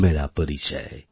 মেরা পরিচয়